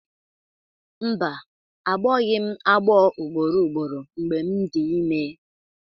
Mba, agbọghị m agbọ ugboro ugboro mgbe m dị ime